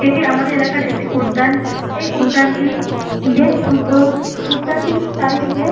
এটি আমাদের এলাকার একটি উদ্যান । এই উদ্যানটি বেশ সুন্দর উদ্যানটির চারিদিকে--